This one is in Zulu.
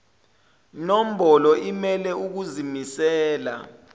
nombolo imele ukuzimisela